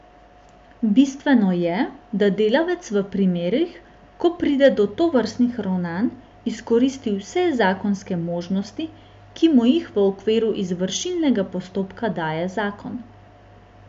Bistveno je, da delavec v primerih, ko pride do tovrstnih ravnanj, izkoristi vse zakonske možnosti, ki mu jih v okviru izvršilnega postopka daje zakon.